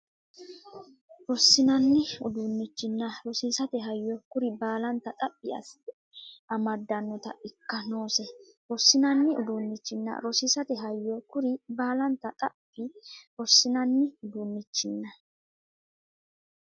Rosiinsanni uduunnichinna rosiisate hayyo kuri baalanta xaphi assite amaddinota ikka noose Rosiinsanni uduunnichinna rosiisate hayyo kuri baalanta xaphi Rosiinsanni uduunnichinna.